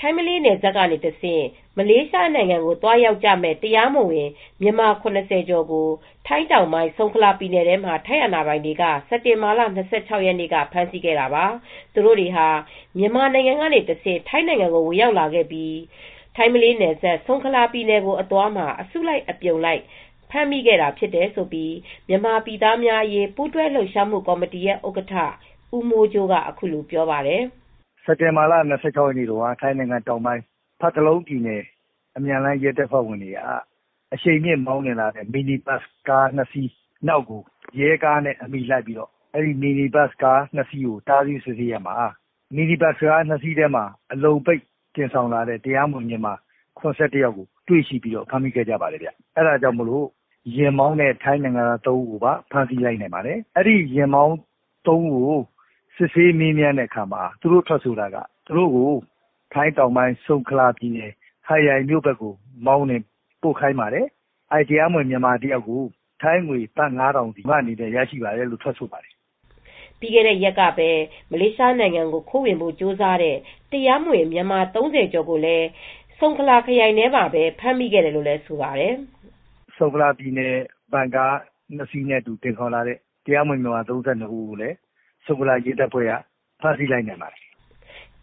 ထိုင်း ၊ မလေးနယ်စပ် ကနေတဆင့် မလေးရှားနိုင်ငံ ကို သွားရောက်ကြမယ့် တရားမဝင် မြန်မာ ၇၀ကျော်ကို ထိုင်းတောင်ပိုင်း၊ ဆုံခလာပြည်နယ်ထဲမှာ ထိုင်းအာဏာပိုင်တွေက စက်တင်ဘာလ ၂၆ရက်နေ့ က ဖမ်းဆီးခဲ့တာပါ။ သူတို့တွေဟာ မြန်မာနိုင်ငံ ကနေတဆင့် ထိုင်းနိုင်ငံကို ဝင်ရောက်လာခဲ့ပြီး ထိုင်းမလေးနယ်စပ်၊ ဆုံခလာပြည်နယ်ကို အသွားမှာ အစုလိုက် အပြုံလိုက် ဖမ်းမိခဲ့ဖြစ်တယ်လို့ မြန်မာပြည်သားများအရေး ပူးတွဲလှုပ်ရှားမှု ကော်မတီဥက္ကဌ ဦးမိုးကြိုးက အခုလိုပြောပါတယ်။ " စက်တင်ဘာလ၂၆ ရက်နေ့က ထိုင်းနိုင်ငံတောင်ပိုင်း ဖတ်တလုံးပြည်နယ် အမြန်လမ်းရဲတပ်ဖွဲ့ဝင်တွေဟာ အရှိန်နဲ့မောင်းနှင်လာတဲ့ မီနီဘတ်စ်စကား၂စီးနောက်ကို လိုက်တဲ့အခါမှာ မီနီဘတ်စ်ကားကို တားဆီးစစ်ဆေးရာမှာတော့ အဲဒီကားပေါ်မှာ အလုံပိတ်သယ်ဆောင်လာတဲ့တရားမဝင် မြန်မာနိုင်ငံသား ၇၁ဦးကို ဖမ်းမိပါတယ်။ ယာဉ်မောင်းနဲ့ ထိုင်းနိုင်ငံသား၃ဦးကိုလည်း ဖမ်းဆီးလိုက်ပါတယ်။ ယာဉ်မောင်း၃ဦးကို စစ်ဆေးတဲ့အခါမှာ ဆုံခလာခရိုင် ဟတ်ရိုင်ဘက်ကို မောင်းပြီး ပို့ဆောင်ခိုင်းပါတယ်။ တရားမဝင်မြန်မာတဦးကို ထိုင်းဘတ်ငွေ ၅၀၀၀ စီရတယ်လို့ ထွက်ဆိုပါတယ်" ပြီးခဲ့တဲ့ရက်ကပဲ ဆုံခလာပြည်နယ်ထဲမှာ မလေးရှားနိုင်ငံကို ခိုးဝင်ဖို့ကြိုးစားနေကြတဲ့ တရားမဝင် မြန်မာ ၃၀ကျော်ကို ဖမ်မိခဲ့သေးတယ် လို့လည်းဆိုပါတယ်။ "ဆုံခလာပြည်နယ်ထဲမှာ ဗင်ကား၂စီးနဲ့ သယ်ဆောင်လာတဲ့ မြန်မာနိုင်ငံသား၃၂ဦးကိုလည်း ထိုင်းနိုင်ငံ ဆုံခလာ ရဲတပ်ဖွဲကဖမ်းမိခဲ့ပါတယ်"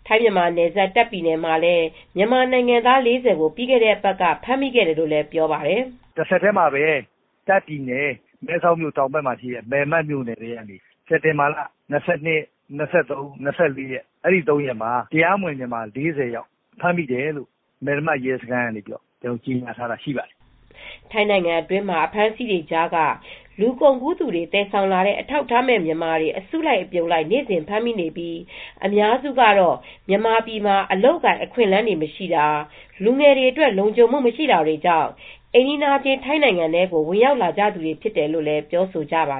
ထိုင်း မြန်မာနယ်စပ် တာ့ခ်ပြည်ထဲမှာလည်း မြန်မာနိုင်ငံသား၄၀ကို ပြီးခဲ့တဲ့အပတ်က ဖမ်းမိခဲ့တယ်လို့လည်းပြောပါတယ်။ " တဆက်တည်းမှာပဲ ထိုင်းနိုင်ငံ၊ တာ့ခ်ပြည်နယ်၊ မဲလမတ်မြိုနယ်ထဲမှာ စက်တင်ဘာ၂၁ရက်နေ့က ၂၃ရက်နေ့အထိ တရားမဝင် မြန်မာ ၄၀ဦးဖမ်းမိတယ်လို့ မဲလမတ်ရဲစခန်းက ထုတ်ပြန်ထားတာရှိပါတယ် " ထိုင်းနိုင်ငံမှာ အဖမ်းဆီးတွေကြားက လူကုန်ကူးသူတွေ သယ်ဆောင်လာတဲ့ အထောက်အထားမဲ့ မြန်မာတွေ အစုလိုက် အပြုံလိုက် နေ့စဉ်ဖမ်းမိနေပြီး အများစုကတောမြန်မာပြည်မှာ အလုပ်အကိုင် အခွင့်အလန်းတွေမရှိတာ၊ လူငယ်တွေအတွက် လုံခြုံမူမရှိတာတွေကြောင့် အိမ်နီးချင်းထိုင်းနိုင်ငံထဲကို ဝင်ရောက်လာကြသူတာဖြစ်တယ်လို့ ပြောဆိုကြပါ